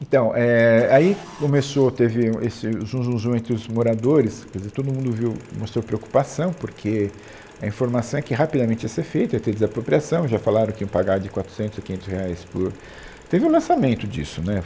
Então, é, aí começou, teve um, esse zum zum zum entre os moradores, quer dizer, todo mundo viu, mostrou preocupação porque a informação é que rapidamente ia ser feita, ia ter desapropriação, já falaram que iam pagar de quatrocentos a quinhentos reais por... Teve um lançamento disso, né?